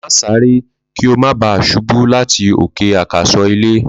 Ma sáré kí o má bà ṣubú láti òkè àkàsọ̀ ilé